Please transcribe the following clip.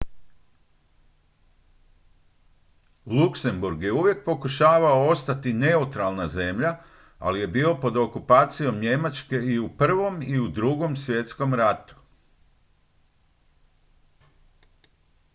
luxembourg je uvijek pokušavao ostati neutralna zemlja ali je bio pod okupacijom njemačke i u i i u ii svjetskom ratu